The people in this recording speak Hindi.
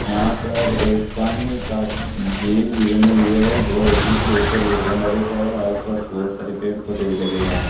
यहां पर एक पानी का झील भी बने हुए जो जिसके ऊपर ये गैंडा बैठा है आसपास बहोत सारे पेड़ पौधे भी लगे हुए हैं।